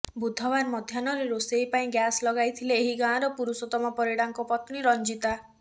ବୁଧବାର ମଧ୍ୟାହ୍ନରେ ରୋଷେଇ ପାଇଁ ଗ୍ୟାସ ଲଗାଇ ଥିଲେ ଏହି ଗାଁର ପୁରୁଷୋତ୍ତମ ପରିଡାଙ୍କ ପତ୍ନୀ ରଞ୍ଜିତା